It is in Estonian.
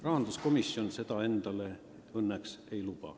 Rahanduskomisjon seda endale ei luba.